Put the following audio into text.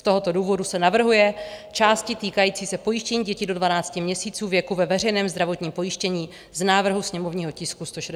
Z tohoto důvodu se navrhují části týkající se pojištění dětí do 12 měsíců věku ve veřejném zdravotním pojištění z návrhu sněmovního tisku 165 vypustit.